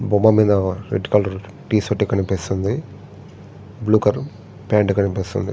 బొమ్మ మీద ఓ రెడ్ కలర్ టీ-షర్ట్ కనిపిస్తుంది బ్లూ కలర్ ప్యాంటు కనిపిస్తుంది.